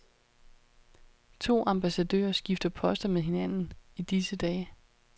To ambassadører skifter poster med hinanden i disse dage.